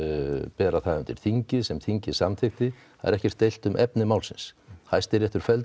bera það undir þingið sem þingið samþykkti það er ekkert deilt um efni málsins Hæstiréttur felldi